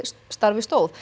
stóð